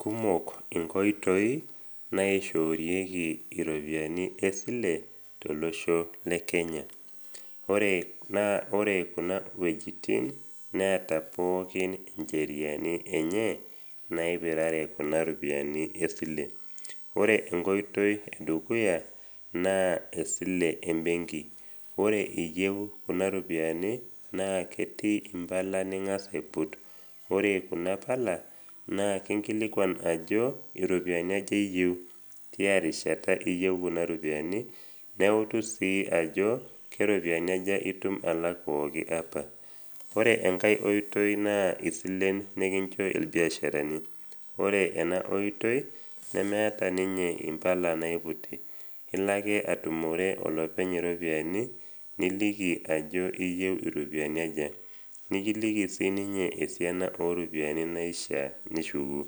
Kumok inkoitoi naishoorieki iropiani esile tolosho le Kenya. Naa ore kuna wuejitin neata pookin incheriani enye naipirare kuna ropiani esile. Ore enkoitoi e dukuya naa esile embenki. Ore iyeu kuna ropiani naa ketii impala ning’as aiput. Ore kuna pala, naa kinkilikuan ajo iropiani aja iyeu, tiarishata iyeu kuna ropiani, neutu sii ajo, keropiani aja itum alak pooki apa. Ore enkai oitoi naa isilen nekincho ilbiasharani. Ore ena oitoi nemeata ninye impala naiputi, ilo ake atumore olopeny iropiani niliki ajo iyeu iropiani aja, nikiliki siininye esiana o ropiani naishaa nishuku,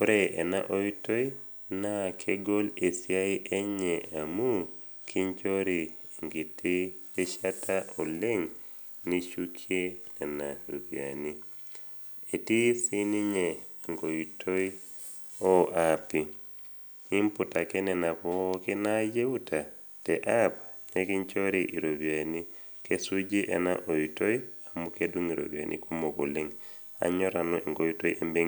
ore ena oitoi naa kegol esiai enye amu kinchori enkiti rishita oleng nishukie nena ropiani. Etii siininye enkoiti o aapi, imput ake nena pookin nayeuta teapp nekinchori iropiani. Kesuuji ena oitoi amu kedung iropiani kumok oleng. Anyor nanu enkoiti o silen ombekii.